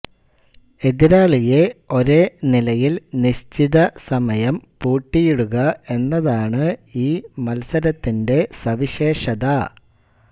എതിരാളിയെ ഒരേ നിലയിൽ നിശ്ചിത സമയം പൂട്ടിയിടുക എന്നതാണ് ഈ മത്സരത്തിന്റെ സവിശേഷത